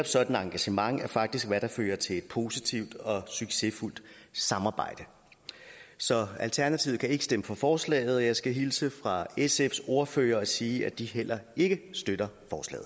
sådan engagement er faktisk hvad der fører til et positivt og succesfuldt samarbejde så alternativet kan ikke stemme for forslaget og jeg skal hilse fra sfs ordfører og sige at de heller ikke støtter